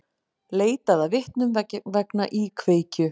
Leitað að vitnum vegna íkveikju